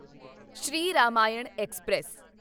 Shri Ramayan express